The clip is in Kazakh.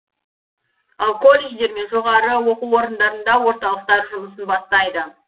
ал колледждер мен жоғары оқу орындарында орталықтар жұмысын бастайды